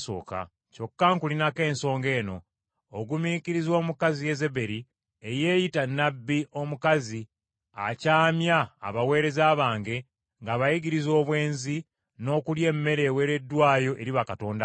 Kyokka nkulinako ensonga eno. Ogumiikiriza omukazi Yezeberi eyeeyita nnabbi omukazi akyamya abaweereza bange ng’abayigiriza obwenzi n’okulya emmere eweereddwayo eri bakatonda abalala.